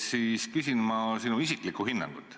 Ma küsin sinu isiklikku hinnangut.